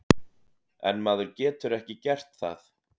En maður getur ekki gert það.